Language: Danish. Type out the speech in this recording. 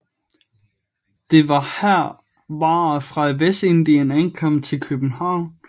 Det var her varer fra Vestindien ankom til København